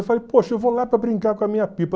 Eu falei, poxa, eu vou lá para brincar com a minha pipa.